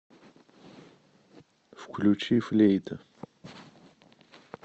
включи флейта